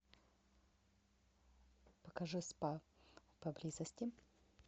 покажи спа поблизости